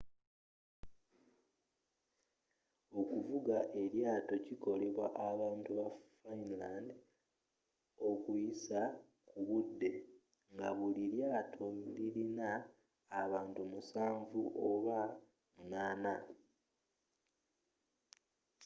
okuvuga eryaato kikolebwa abantu ba finland okuyisa ku budde nga buli ryaato liyina abantu musanvu oba munaana